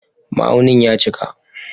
Ma'aunin ya cika